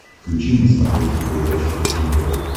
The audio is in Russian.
включи на смотрешке передачу фэшен тв